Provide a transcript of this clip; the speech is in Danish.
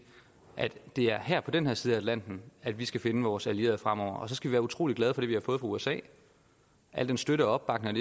at det er her på den her side af atlanten at vi skal finde vores allierede fremover og så skal vi være utrolig glade for det vi har fået fra usa al den støtte og opbakning